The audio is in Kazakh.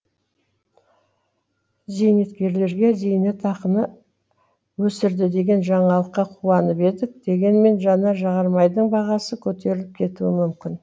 зейнеткерлерге зейнетақыны өсірді деген жаңалыққа қуанып едік дегенмен жанар жағармайдың бағасы көтеріліп кетуі мүмкін